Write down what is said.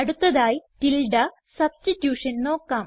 അടുത്തതായി tilde substitution നോക്കാം